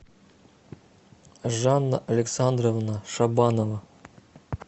жанна александровна шабанова